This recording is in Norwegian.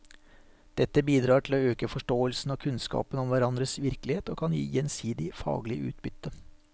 Dette bidrar til å øke forståelsen og kunnskapen om hverandres virkelighet og kan gi gjensidig faglig utbytte.